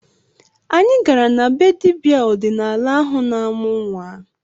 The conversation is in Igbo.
Anyị gara na be dibịa ọdịnala ahụ na-amụ nnwa